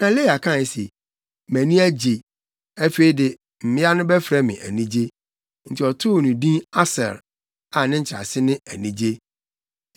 Na Lea kae se, “Mʼani agye! Afei de, mmea no bɛfrɛ me anigye.” Enti, ɔtoo no din Aser a ne nkyerɛase ne “Anigye.”